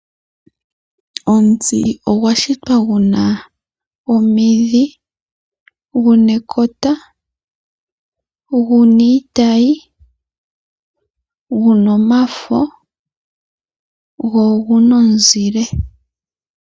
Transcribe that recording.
Omuti ogwa shitwa gu na omidhi, gu na ekota, gu na iitayi, gu na omafo, go ogu na omuzile.